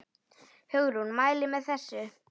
Hugrún: Mælið þið með þessu?